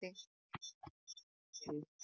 ठीक आहे